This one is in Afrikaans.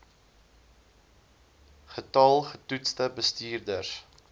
getal getoetste bestuurders